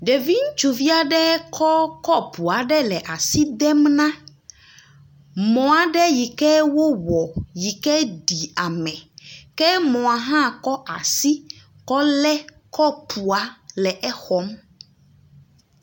Ɖevi ŋutsuvi aɖe kɔ kɔpu la asi dem na mɔ aɖe ʋi ke wowɔ yi ke ɖi ame ke mɔ hã kɔ asi kɔ lé kɔpua le exɔm.